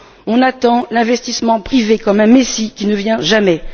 On attend l'investissement privé comme un Messie qui ne vient jamais!